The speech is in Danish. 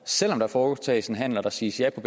selv om der foretages handler og der siges ja til